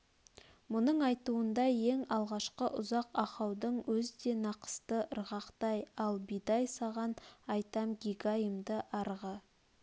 мұның айтуында ең алғашқы ұзақ ахаудың өз де нақысты ырғақтай ал бидай саған айтам гигайымды арғы